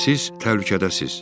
Siz təhlükədəsiz.